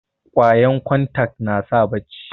kwayan kontak nasa bacci